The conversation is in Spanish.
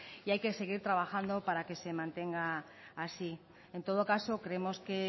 y hay que seguir trabajando para que se mantenga así en todo caso creemos que